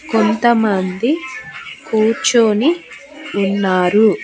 కొంతమంది కూర్చొని ఉన్నారు.